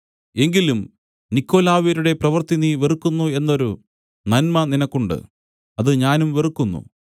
എങ്കിലും നിക്കൊലാവ്യരുടെ പ്രവൃത്തി നീ വെറുക്കുന്നു എന്നൊരു നന്മ നിനക്കുണ്ട് അത് ഞാനും വെറുക്കുന്നു